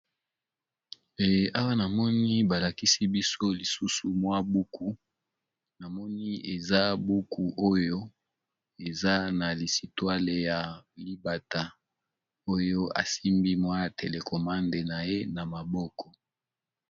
Awa namoni balakisi biso lisusu buku na moni eza buku oyo eza na lisolo ya libata oyo asimbi telekomande na ye na maboko.